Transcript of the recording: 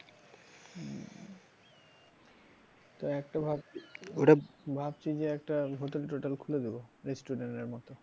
তো একটা ভাবছি ভাবছি যে একটা hotel টোটেল খুলে দেবো restaurant এর মত।